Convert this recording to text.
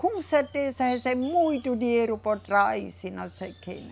Com certeza recebem muito dinheiro por trás e não sei o quê, né?